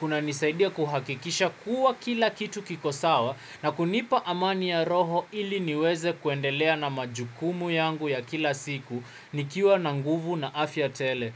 kunanisaidia kuhakikisha kuwa kila kitu kiko sawa na kunipa amani ya roho ili niweze kuendelea na majukumu yangu ya kila siku nikiwa na nguvu na afya tele.